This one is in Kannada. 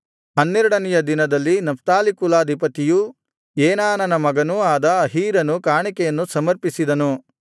ಹನ್ನೆರಡನೆಯ ದಿನದಲ್ಲಿ ನಫ್ತಾಲಿ ಕುಲಾಧಿಪತಿಯೂ ಏನಾನನ ಮಗನೂ ಆದ ಅಹೀರನು ಕಾಣಿಕೆಯನ್ನು ಸಮರ್ಪಿಸಿದನು